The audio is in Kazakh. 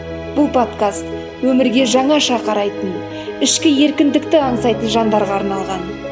бұл подкаст өмірге жаңаша қарайтын ішкі еркіндікті аңсайтын жандарға арналған